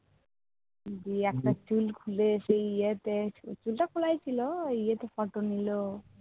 দিয়ে একটা চুল খুলে সেই ইয়েতে, চুল টা খোলাই ছিল, একটা photo নিল।